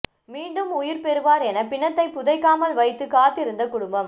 மீண்டும் உயிர் பெறுவார் என பிணத்தை புதைக்காமல் வைத்து காத்திருந்த குடும்பம்